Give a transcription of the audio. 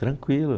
Tranquilo.